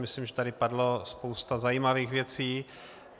Myslím, že tady padla spousta zajímavých věcí.